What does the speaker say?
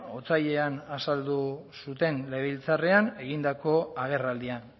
otsailean azaldu zuten legebiltzarrean egindako agerraldian